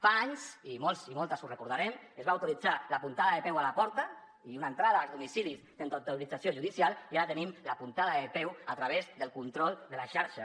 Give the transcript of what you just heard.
fa anys i molts i moltes ho recordarem es va autoritzar la puntada de peu a la porta i una entrada als domicilis sense autorització judicial i ara tenim la puntada de peu a través del control de les xarxes